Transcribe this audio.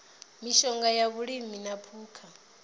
mishonga ya vhulimi na phukha